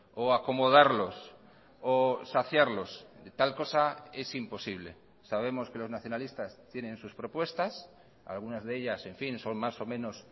o acomodarlos o saciarlos tal cosa es imposible sabemos que los nacionalistas tienen sus propuestas algunas de ellas en fin son más o menos